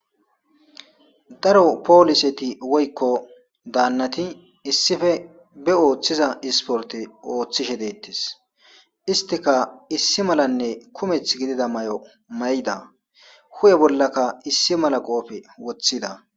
Daro poliseti woyikko danayi issippe be oothtza issiporite ooththishe deetesi isitikka issi malanne kumethi gidida mayo mayida huphphe bolakka issi mala qoppe woththida